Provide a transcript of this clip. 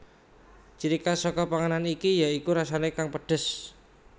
Ciri khas saka panganan iki ya iku rasane kang pedhes